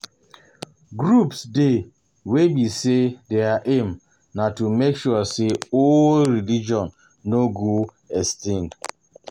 Groups dey wey be sey their aim na to make sure sey old old religion no go extinct